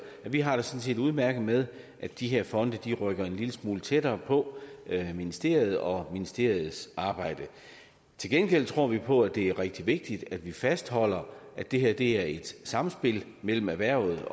har vi har det sådan set udmærket med at de her fonde rykker en lille smule tættere på ministeriet og ministeriets arbejde til gengæld tror vi på at det er rigtig vigtigt at vi fastholder at det her sker i samspil mellem erhvervet